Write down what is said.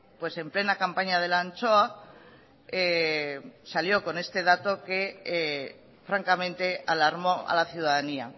pues en plena campaña de la anchoa salió con este dato que francamente alarmó a la ciudadanía